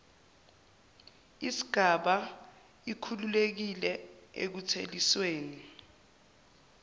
isgaba ikhululekile ekuthelisweni